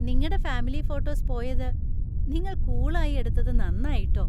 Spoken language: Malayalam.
നിങ്ങടെ ഫാമിലി ഫോട്ടോസ് പോയത് നിങ്ങൾ കൂളായി എടുത്തത് നന്നായി, ട്ടോ.